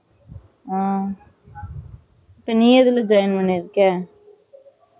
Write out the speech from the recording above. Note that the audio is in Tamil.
ஆ இப்போ நீ எதுல join பண்ணிருக்க